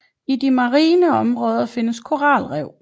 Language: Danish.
I de marine områdene findes koralrev